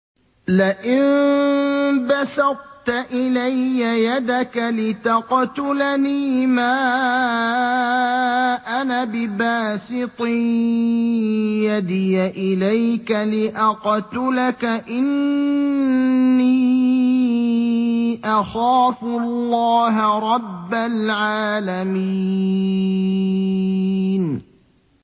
لَئِن بَسَطتَ إِلَيَّ يَدَكَ لِتَقْتُلَنِي مَا أَنَا بِبَاسِطٍ يَدِيَ إِلَيْكَ لِأَقْتُلَكَ ۖ إِنِّي أَخَافُ اللَّهَ رَبَّ الْعَالَمِينَ